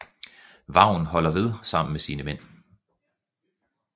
Vagn holder ved sammen med sine mænd